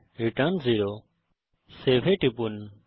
return 0 save এ টিপুন